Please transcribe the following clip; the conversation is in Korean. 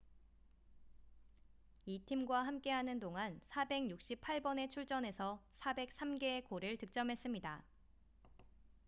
이 팀과 함께하는 동안 468번의 출전에서 403개의 골을 득점했습니다